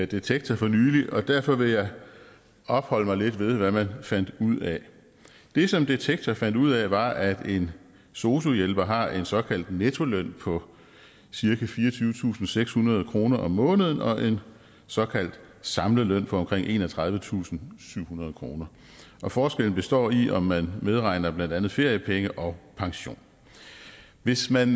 detektor for nylig og derfor vil jeg opholde mig lidt ved hvad man fandt ud af det som detektor fandt ud af var at en sosu hjælper har en såkaldt nettoløn på cirka fireogtyvetusinde og sekshundrede kroner om måneden og en såkaldt samlet løn på omkring enogtredivetusinde og syvhundrede kroner og forskellen består i om man medregner blandt andet feriepenge og pension hvis man